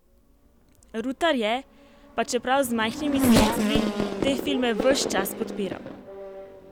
Rutar je, pa čeprav z majhnimi sredstvi, te filme ves čas podpiral.